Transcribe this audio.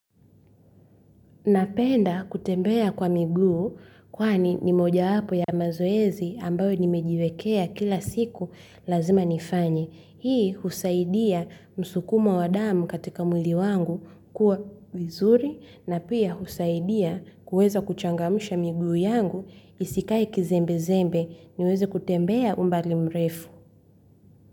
Napenda kutembea kwa miguu kwani ni mojawapo ya mazoezi ambayo nimejiwekea kila siku lazima nifanye. Hii husaidia msukumo wa damu katika mwili wangu kuwa mzuri na pia husaidia kuweza kuchangamsha miguu yangu isikae kizembe-zembe niweze kutembea umbali mrefu.